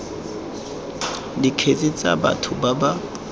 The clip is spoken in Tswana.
dikgetse tsa batho ba ba